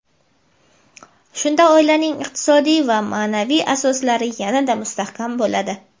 Shunda oilaning iqtisodiy va maʼnaviy asoslari yana-da mustahkam bo‘ladi.